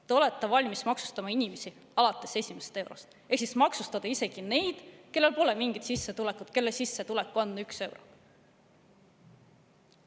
Te olete valmis maksustama inimesi alates esimesest eurost ehk maksustate isegi neid, kellel pole mingit sissetulekut või kelle sissetulek on üks euro.